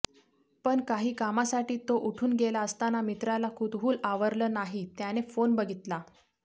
पण काही कामासाठी तो उठून गेला असताना मित्राला कुतूहल आवरलं नाही त्याने फोन बघितला